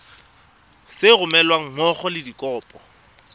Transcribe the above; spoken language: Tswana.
sa romelweng mmogo le dikopo